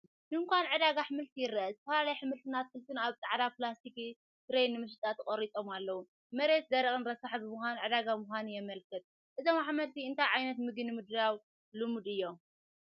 ድኳን ዕዳጋ ኣሕምልቲ ይርአ፣ ዝተፈላለዩ ኣሕምልትን ኣትክልትን ኣብ ጻዕዳ ፕላስቲክ ትሬይ ንመሸጣ ተቐሪጾም ኣለዉ። መሬት ደረቕን ረሳሕን ብምዃኑ ዕዳጋ ምዃኑ የመልክት። እዞም ኣሕምልቲ እንታይ ዓይነት ምግቢ ንምድላው ልሙት እዮም?